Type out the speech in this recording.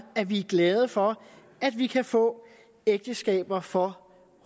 at vi er glade for at vi kan få ægteskaber for